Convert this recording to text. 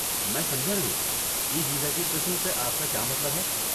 میں سمجھا نہیں، 'ای ویزا کی قسم' سے آپ کا کیا مطلب ہے؟